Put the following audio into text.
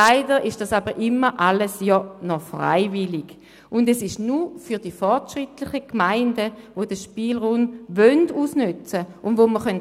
Leider ist dies alles immer noch freiwillig und nur für fortschrittliche Gemeinden, die den Spielraum ausnützen wollen.